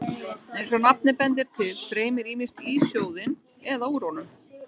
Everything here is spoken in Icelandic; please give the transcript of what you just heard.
Eins og nafnið bendir til streymir ýmist í sjóðinn eða úr honum.